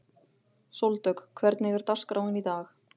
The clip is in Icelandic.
Sóldögg, hvernig er dagskráin í dag?